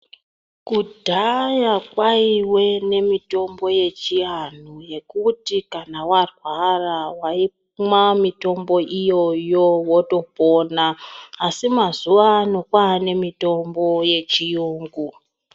Kudhaya kwaiwe nemitombo yechiantu yekuti kana warwara waimwe mitombo iyoyo wotopona, asi mazuwano kwane mitombo yechiyungu.